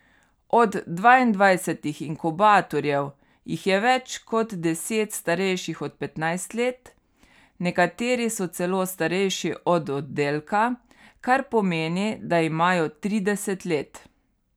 Od dvaindvajsetih inkubatorjev jih je več kot deset starejših od petnajst let, nekateri so celo starejši od oddelka, kar pomeni, da imajo trideset let.